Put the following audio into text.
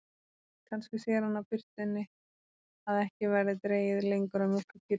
Kannski sér hann á birtunni að ekki verði dregið lengur að mjólka kýrnar.